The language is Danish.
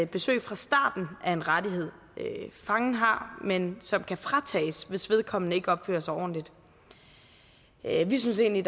besøg fra starten er en rettighed fangen har men som kan fratages hvis vedkommende ikke opfører sig ordentligt vi synes egentlig